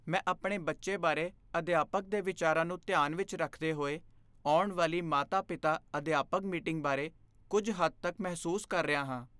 ਮੈਂ ਆਪਣੇ ਬੱਚੇ ਬਾਰੇ ਅਧਿਆਪਕ ਦੇ ਵਿਚਾਰਾਂ ਨੂੰ ਧਿਆਨ ਵਿੱਚ ਰੱਖਦੇ ਹੋਏ ਆਉਣ ਵਾਲੀ ਮਾਤਾ ਪਿਤਾ ਅਧਿਆਪਕ ਮੀਟਿੰਗ ਬਾਰੇ ਕੁੱਝ ਹੱਦ ਤੱਕ ਮਹਿਸੂਸ ਕਰ ਰਿਹਾ ਹਾਂ